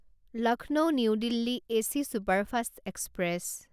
Lucknow New Delhi AC superfast express